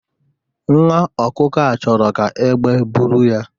Nwa ọkụkọ a chọrọ ka egbe buru ya